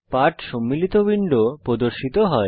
পাঠ সম্মিলিত উইন্ডো প্রদর্শিত হয়